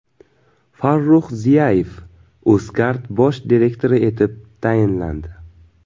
Farrux Ziyayev Uzcard bosh direktori etib tayinlandi.